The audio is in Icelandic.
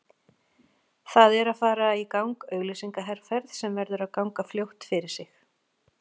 Það er að fara í gang auglýsingaherferð sem verður að ganga fljótt fyrir sig.